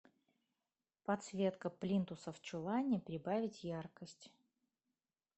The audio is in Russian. подсветка плинтуса в чулане прибавить яркость